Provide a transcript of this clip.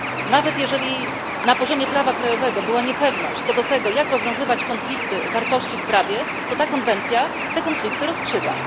Nawet jeżeli na poziomie prawa krajowego była niepewność co do tego, jak rozwiązywać konflikty wartości w prawie, to konwencja te konflikty rozstrzyga.